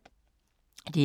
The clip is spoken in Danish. DR2